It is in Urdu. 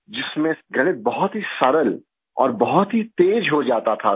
جس میں ریاضی بہت ہی آسان اور بہت ہی تیز ہو جاتا تھی